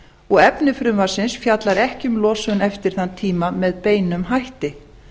og efni frumvarpsins fjallar ekki um losun eftir þann tíma með beinum hætti